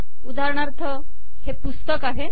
उदाहरणार्थ हे पुस्तक आहे